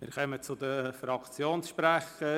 Wir kommen zu den Fraktionssprechern.